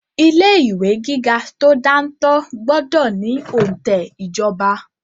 Ilé ìwé gíga tó dáńtọ́ gbọ́dọ̀ ní òǹtẹ̀ ìjọba.